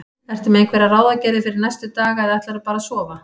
Ertu með einhverjar ráðagerðir fyrir næstu daga eða ætlarðu bara að sofa?